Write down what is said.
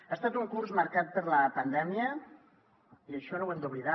ha estat un curs marcat per la pandèmia i això no ho hem d’oblidar